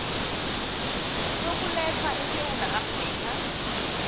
sokuletha esewula afrika